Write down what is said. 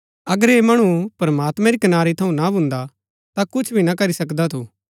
अगर ऐह मणु प्रमात्मैं री कनारी थऊँ ना भुन्दा ता कुछ भी ना करी सकदा थू